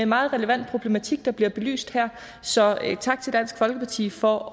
meget relevant problematik der bliver belyst her så tak til dansk folkeparti for